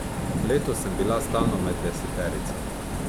Letos sem bila stalno med deseterico.